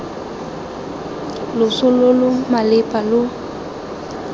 loso lo lo malepa lo